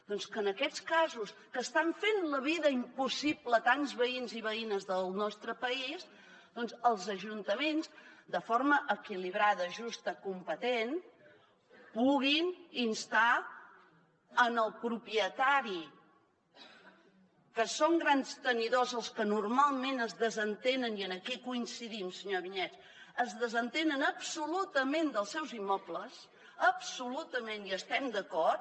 doncs que en aquests casos que estan fent la vida impossible a tants veïns i veïnes del nostre país els ajuntaments de forma equilibrada justa competent pugui instar el propietari que són grans tenidors els que normalment es desentenen i aquí coincidim senyora vinyets absolutament dels seus immobles absolutament hi estem d’acord